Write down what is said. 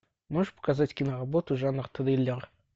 можешь показать киноработу жанр триллер